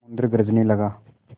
समुद्र गरजने लगा